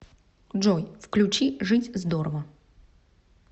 джой включи жить здорово